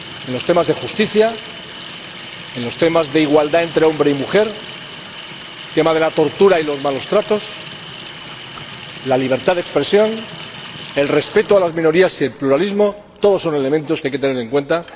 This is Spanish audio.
En los temas de justicia, en los temas de igualdad entre hombre y mujer, el tema de la tortura y los malos tratos, la libertad de expresión, el respeto de las minorías y el pluralismo, todos son elementos que hay que tener en cuenta.